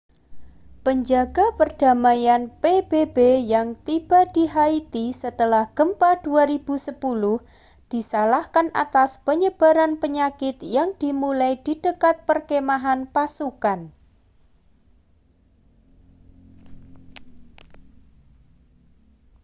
penjaga perdamaian pbb yang tiba di haiti setelah gempa 2010 disalahkan atas penyebaran penyakit yang dimulai di dekat perkemahan pasukan